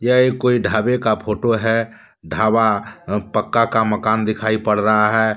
यह एक कोई ढाबे का फोटो है। ढाबा अह पक्का का मकाम दिखाई पड़ रहा है।